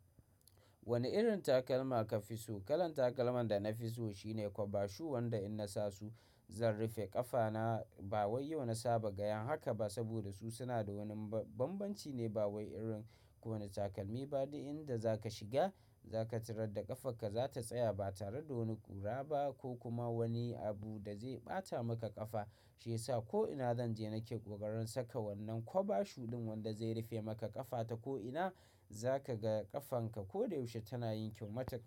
Wani irin takalma ka fi so? Kalan takalman da na fi so shine kwaba shu wanda in na sa su zan rufe ƙafana. Ba wai yau na saba ga yan haka ba saboda su suna da wani bambanci ne ba wai irin kowani takalmi ba. Duk inda za ka shiga za ka tarar da ƙafarka, za ta tsaya ba tare da wani ƙura ba ko kuma wani abu da zai ɓata maka ƙafa shiyasa ko'ina zan je nake ƙoƙarin saka wannan kwaba shu ɗin wanda zai rufe maka ƙafata ko'ina za ka ga ƙafanka koda yaushe tana yin kyau matak.